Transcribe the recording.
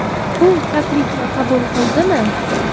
U taklifni qabul qildimi?